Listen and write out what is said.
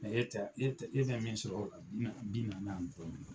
e ta e bɛ min sɔrɔ o la bi nanni ani dɔɔnin